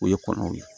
O ye kɔnɔw ye